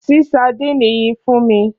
Ṣí sadínì yìí fún mi!